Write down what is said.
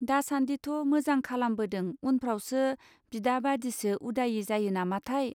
दासान्दिथ मोजां खालामबोदों उनफ्रावसो बिदा बादिसो उदायै जायो नामाथाय!.